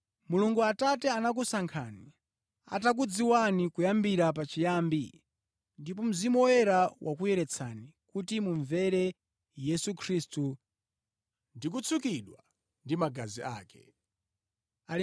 Mulungu Atate anakusankhani, atakudziwani kuyambira pachiyambi, ndipo Mzimu Woyera wakuyeretsani kuti mumvere Yesu Khristu ndikutsukidwa ndi magazi ake. Chisomo ndi mtendere zikhale ndi inu mochuluka.